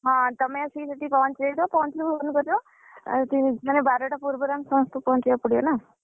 ହଁ ତମେ ଆସି ସେଠି ପହଞ୍ଚି ଯାଇଥିବ, ଆଉ ବାରଟା ପୂର୍ବରୁ ଆମେ ସମସ୍ତେ ପହଞ୍ଚିବାକୁ ପଡିବ ନା!